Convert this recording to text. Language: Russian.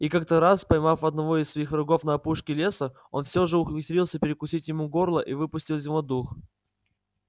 и как то раз поймав одного из своих врагов на опушке леса он все же ухитрился перекусить ему горло и выпустил из него дух